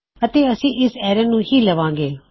ਅਤੇ ਅਸੀਂ ਇਸ ਐਰੇ ਨੂੰ ਵੀ ਲਵਾਂਗੇ